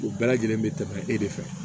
U bɛɛ lajɛlen bɛ tɛmɛ e de fɛ